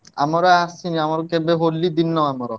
ଆମର ଆସିନି ଆମର କେବେ ହୋଲି ଦିନ ଆମର।